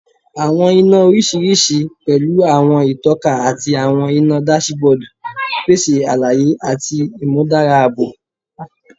Awọn ina oriṣiriṣi, pẹlu awọn itọka ati awọn ina dasibodu, pese alaye ati imudara aabo